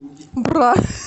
бра